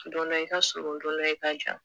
Don dɔ i ka surun don dɔ i ka jan